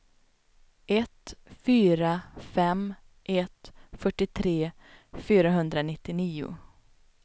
ett fyra fem ett fyrtiotre fyrahundranittionio